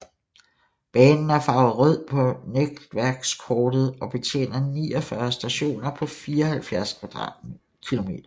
Banen er farvet rød på netværkskortet og betjener 49 stationer på 74 km